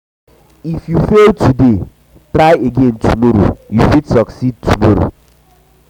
if you fail today try again tomorrow yo fit succeed tomorrow